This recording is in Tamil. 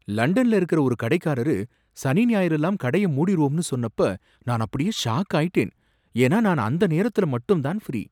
லண்டன்ல இருக்கற ஒரு கடைக்காரரு சனி ஞாயிறுலாம் கடைய மூடிருவோம்னு சொன்னப்போ நான் அப்படியே ஷாக்காயிட்டேன், ஏன்னா நான் அந்த நேரத்துல மட்டும் தான் ஃப்ரீ.